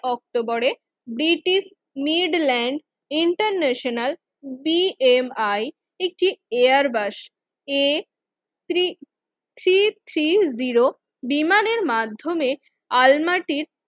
অক্টোবরে British Midland International B M I একটি Airbus A three three three zero বিমানের মাধ্যমে আলমাটির